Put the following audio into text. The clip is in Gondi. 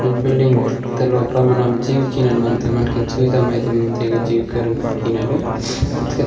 एक बिल्डिंग